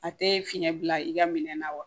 A tɛ fiɲɛ bila i ka minɛn na wa